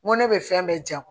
N ko ne bɛ fɛn bɛɛ kɛ